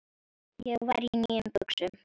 Ég var í nýjum buxum.